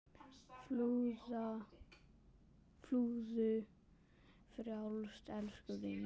Fljúgðu frjáls, elsku vinur.